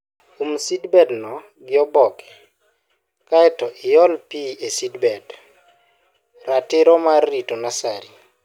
um seedbed no gi oboke kaeto iol pii e seedbed. Ratiro mar Rito Nursery